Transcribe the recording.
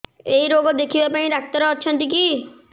ଏଇ ରୋଗ ଦେଖିବା ପାଇଁ ଡ଼ାକ୍ତର ଅଛନ୍ତି କି